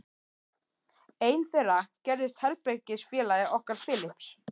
Einn þeirra gerðist herbergisfélagi okkar Philips.